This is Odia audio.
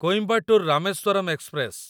କୋଇମ୍ବାଟୋର ରାମେଶ୍ୱରମ୍ ଏକ୍ସପ୍ରେସ